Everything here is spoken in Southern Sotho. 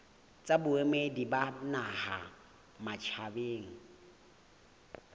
tsa boemedi ba naha matjhabeng